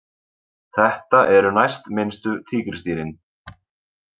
Þetta eru næstminnstu tígrisdýrin.